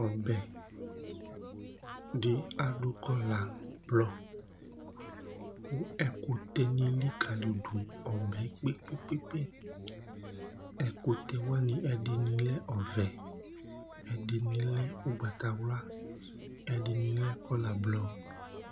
Ɔbɛ di adu kɔɔla blɔ kʋ ɛkʋtɛ ni likalidu ɔbɛ yɛ kpe kpe kpe kpe Ɛkʋtɛ, ɛdiní lɛ ɔvɛ, ɛdiní ugbatawla, ɛdiní lɛ kɔɔla blɔ